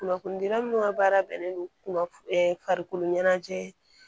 Kunnafonidira minnu ka baara bɛnnen don farikolo ɲɛnajɛ